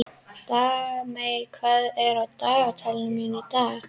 Dagmey, hvað er á dagatalinu mínu í dag?